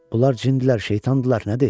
Bunlar cindilər, şeytandırlar, nədir?